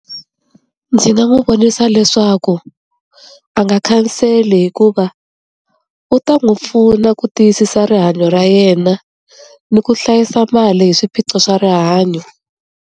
Ndzi nga n'wi vonisa leswaku a nga khanseli hikuva u ta n'wi pfuna ku tiyisisa rihanyo ra yena ni ku hlayisa mali hi swiphiqo swa rihanyo.